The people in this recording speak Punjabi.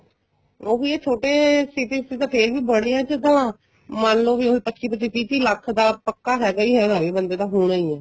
ਉਹੀ ਏ ਛੋਟੇ cities ਤਾਂ ਫੇਰ ਵੀ ਬੜੀਆਂ ਚ ਤਾਂ ਮੰਨ ਲੋ ਵੀ ਹੁਣ ਪਚੀ ਪਚੀ ਤਿਹ ਤਿਹ ਲੱਖ ਤਾਂ ਪਕਾ ਹੈਗਾ ਈ ਹੈਗਾ ਏ ਬੰਦੇ ਦਾ ਹੋਣਾ ਈ ਏ